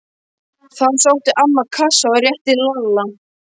Þá sótti amman kassa og rétti Lalla.